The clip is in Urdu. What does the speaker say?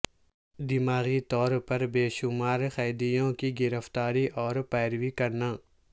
دماغی طور پر بے شمار قیدیوں کی گرفتاری اور پیروی کرنا